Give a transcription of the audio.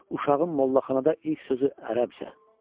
Uşağın mollaxanada ilk sözü ərəbcə.